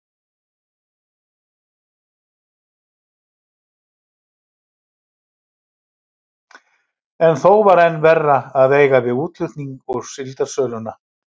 En þó var enn verra að eiga við útflutninginn og síldarsöluna.